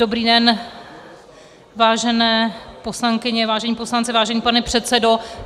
Dobrý den, vážené poslankyně, vážení poslanci, vážený pane předsedo.